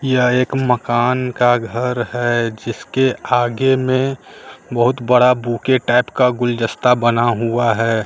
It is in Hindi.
यह एक मकान का घर है जिसके आगे में बहुत बड़ा बुके टाइप का गुलदस्ता बना हुआ है।